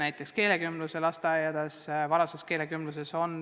Meil on ka keelekümblusega lasteaiad, kus kasutatakse varase keelekümbluse meetodeid.